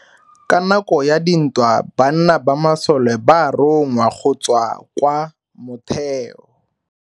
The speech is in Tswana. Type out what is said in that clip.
Ka nako ya dintwa banna ba masole ba rongwa go tswa kwa motheo.